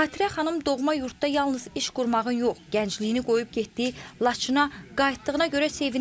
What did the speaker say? Xatirə xanım doğma yurdda yalnız iş qurmağa yox, gəncliyini qoyub getdiyi Laçına qayıtdığına görə sevinir.